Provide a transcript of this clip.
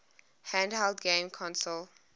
handheld game consoles